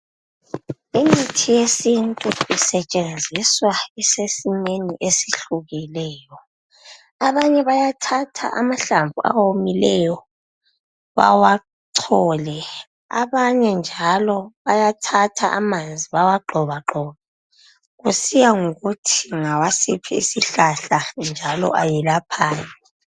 Imithi yesintu isetshenziswa isesimeni esihlukileyo. Abanye bayathatha amahlamvu awomileyo bawachole ,abanye njalo bayathatha amanzi bawa gxobagxobe kusiya ngokuthi ngawasiphi isihlahla njalo ayelaphani.